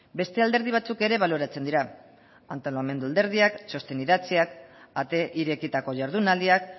beste alderdi batzuk ere baloratzen dira antolamendu alderdiak txosten idatziak ate irekitako jardunaldiak